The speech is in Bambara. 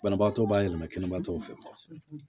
Banabaatɔ b'a yɛlɛma kɛnɛma tɔw fɛ